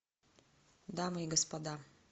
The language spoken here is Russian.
дамы и господа